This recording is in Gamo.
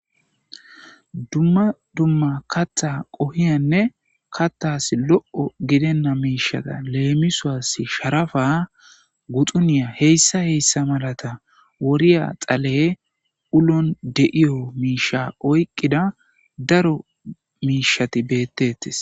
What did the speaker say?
Dumma dumma kaththa qohiya kaththas lo'o giddena miishshata lemisos ,sharapa,guxxune hhmata wodhdhiya dhale uloon diya miishshata oyqqida daro miishshati betetees.